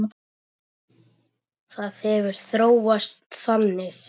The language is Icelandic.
Það hefur þróast þannig.